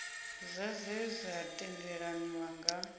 zwa zwe zwa tendelaniwa nga